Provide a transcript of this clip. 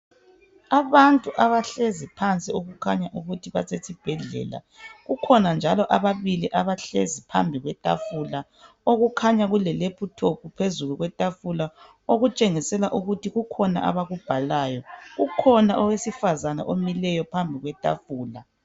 Abantu abahlezi phansi okukhanya ukuthi basesibhedlela. Kukhona njalo ababili abahlezi phambi kwetafula okukhanya kulelephuthophu phezulu bayabhala. Kukhona owesifazana omileyo phambi kwetafula.